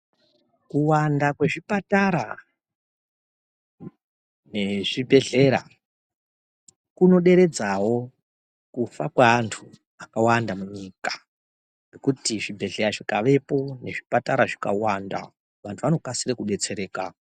Kuwanda kwezvipatara nezvibhedhlera kunoderedzawo kufa kweantu akawanda munyika kuti zvibhedhlera zvikavepo nezvipatara zvikawanda vantu vanokasire kudetsereka.